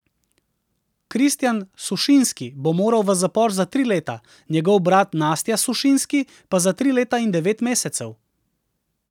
Kristjan Sušinski bo moral v zapor za tri leta, njegov brat Nastja Sušinski pa za tri leta in devet mesecev.